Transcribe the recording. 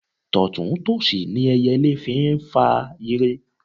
Tọ̀tún tòsì ni ẹyẹlé fi ń fa ire.